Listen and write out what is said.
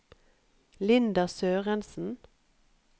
Linda Sørensen